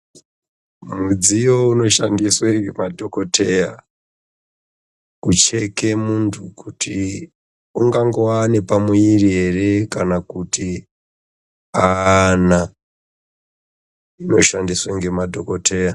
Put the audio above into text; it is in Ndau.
Mudziyo inoshandiswe ngemadhokoteya kucheke muntu kuti ungangove nepamwiri ere kana kuti ana unoshandiswe ngemadhokoteya.